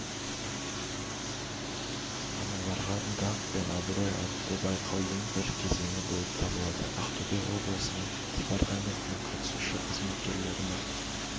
аналарға даңқ пен абырой атты байқаудың бір кезеңі болып табылады ақтөбе облысының департаментінің қатысушы қызметкерлерінің